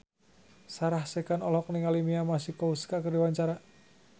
Sarah Sechan olohok ningali Mia Masikowska keur diwawancara